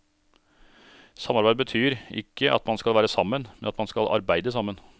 Samarbeid betyr ikke at man skal være sammen, men at man skal arbeide sammen.